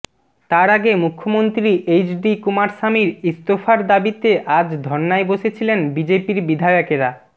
তার আগে মুখ্যমন্ত্রী এইচ ডি কুমারস্বামীর ইস্তফার দাবিতে আজ ধর্নায় বসেছিলেন বিজেপির বিধায়কেরা